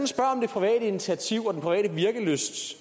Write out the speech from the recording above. spørger om det private initiativ og den private virkelysts